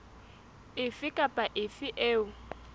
efe kapa efe eo e